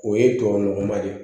O ye tubabu nɔgɔ ma de